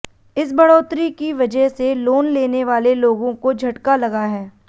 इस बढ़ोतरी की वजह से लोन लेने वाले लोगों को झटका लगा है